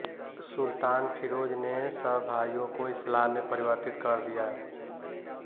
सुल्तान फिरोज ने तब भाइयों को इस्लाम में परिवर्तित कर दिया